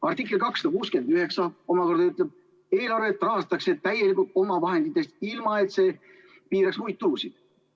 Artikkel 269 omakorda ütleb, et eelarvet rahastatakse täielikult omavahenditest, ilma et see piiraks muid tulusid.